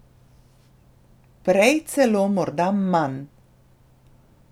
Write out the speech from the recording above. Prej celo morda manj.